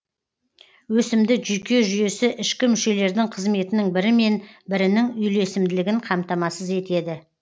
өсімді жүйке жүйесі ішкі мүшелердің қызметінің бірімен бірінің үйлесімділігін қамтамасыз етеді